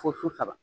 Fo su saba